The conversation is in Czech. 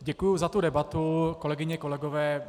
Děkuji za tu debatu, kolegyně, kolegové.